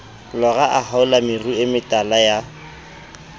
lora a haola meruemetala ya